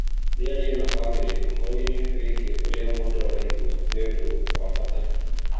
Mĩario na bamĩrĩ ũhoro-inĩ wĩgiĩ ũrĩa mũndũ araigua nĩ ũndũ wa bata